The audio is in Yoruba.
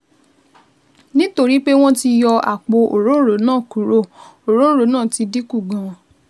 Nítorí pé wọ́n ti yọ àpò òróǹro náà kúrò, òróǹro náà ti dín kù gan-an